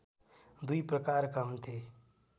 दुई प्रकारका हुन्थे